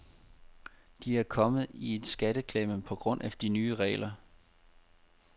De er kommet i en skatteklemme på grund af de nye regler.